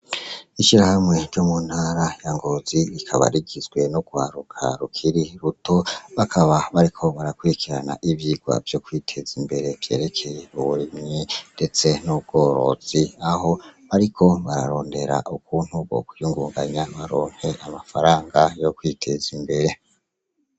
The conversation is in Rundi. Ishirahamwe ryo mu ntara ya ngozi rikabarigizwe n'uewaruka rukiri ruto bakaba bariko barakurikirana ivyirwa vyo kwiteza imbere vyerekeye uburimyi, ndetse n'ubworozi aho bariko bararondera ukuntu bo kwiyungunganya baronke amafaranga yo kwiteza imbere.